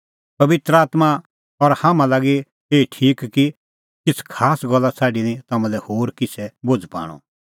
पबित्र आत्मां और हाम्हां लागी एही ठीक कि किछ़ खास गल्ला छ़ाडी निं तम्हां लै होर किछ़ै बोझ़ पाणअ